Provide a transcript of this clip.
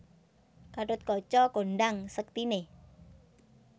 Gathotkaca kondhang sektiné